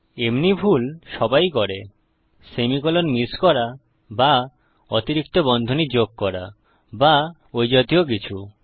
এমনি ভুল সবাই করে সেমিকোলন মিস করা বা অতিরিক্ত বন্ধনী যোগ করা বা ওই জাতীয় কিছু